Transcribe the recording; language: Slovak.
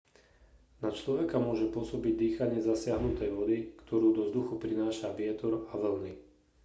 na človeka môže pôsobiť dýchanie zasiahnutej vody ktorú do vzduchu prináša vietor a vlny